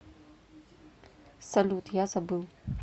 салют я забыл